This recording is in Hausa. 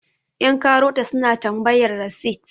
yankarota suna tambayar rasit